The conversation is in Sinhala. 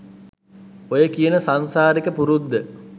ඔය කියන සංසාරික පුරුද්ද